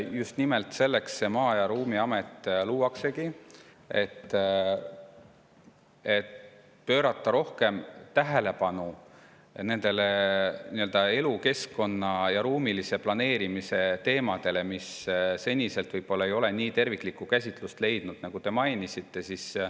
Just nimelt selleks Maa- ja Ruumiamet luuaksegi, et pöörata rohkem tähelepanu nendele elukeskkonna ja ruumilise planeerimise teemadele, mis seni võib-olla ei ole nii terviklikku käsitlust leidnud, nagu te märkisite.